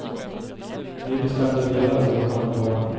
Vi bestämde delad vårdnad om barnen.